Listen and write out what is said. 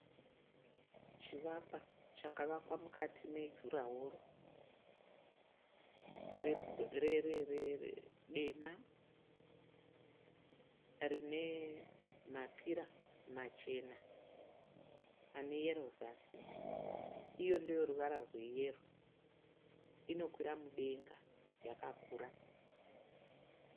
Chivakwa chakavakwa mukati mejuraworo dema. Rine mapira machena aneyero zasi. Iyo ndeyeruvara rweyero inokwira mudenga yakakura.